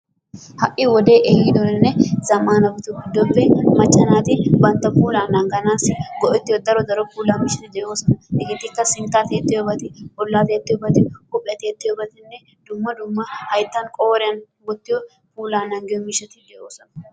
Ha'i wodee ehidonne zamanabatu giddoppe macca naati bantta puula naganassi go'ettiyo daro daro puula miishshati de'ossona hegettikka sintta tiyettiyobat, bolla tiyettiyobat, huuphiyaa tiyettiyobati dumma dumma hayttan qooriyan wottiyo puula naagiyo miishatti de'ossona.